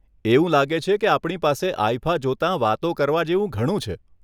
એવું લાગે છે કે આપણી પાસે આઇફા જોતાં વાતો કરવા જેવું ઘણું છે.